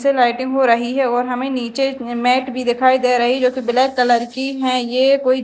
हो रही है और हमें नीचे मैट भी दिखाई दे रही है जो ब्लैक कलर की हैं ये कोई--